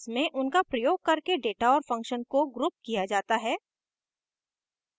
जिसमे उनका प्रयोग करके data और function को grouped किया data है